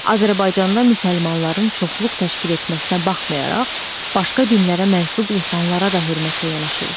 Azərbaycanda müsəlmanların çoxluq təşkil etməsinə baxmayaraq, başqa dinlərə mənsub insanlara da hörmətlə yanaşılır.